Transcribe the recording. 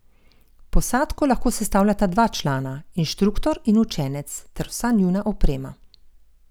Posadko lahko sestavljata dva člana, inštruktor in učenec ter vsa njuna oprema.